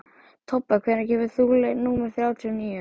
Tobba, hvenær kemur leið númer þrjátíu og níu?